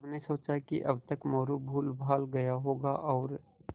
सबने सोचा कि अब तक मोरू भूलभाल गया होगा और